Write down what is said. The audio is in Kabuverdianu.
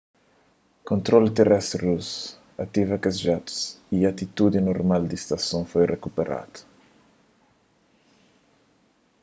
kontrolu terestri rusu ativa kes jatus y atitudi normal di stason foi rikuperadu